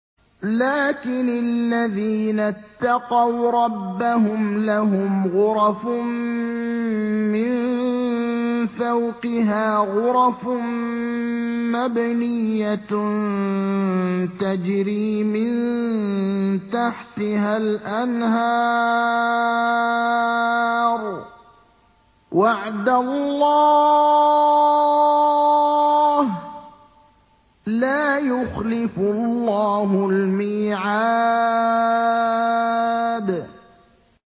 لَٰكِنِ الَّذِينَ اتَّقَوْا رَبَّهُمْ لَهُمْ غُرَفٌ مِّن فَوْقِهَا غُرَفٌ مَّبْنِيَّةٌ تَجْرِي مِن تَحْتِهَا الْأَنْهَارُ ۖ وَعْدَ اللَّهِ ۖ لَا يُخْلِفُ اللَّهُ الْمِيعَادَ